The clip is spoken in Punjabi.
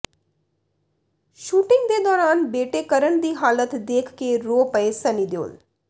ਸ਼ੂਟਿੰਗ ਦੇ ਦੌਰਾਨ ਬੇਟੇ ਕਰਨ ਦੀ ਹਾਲਤ ਦੇਖ ਕੇ ਰੋ ਪਏ ਸਨੀ ਦਿਓਲ